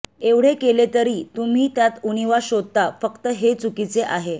एवढे केले तरी तुम्ही त्यात उणीवा शोधता फक्त हे चुकीचे आहे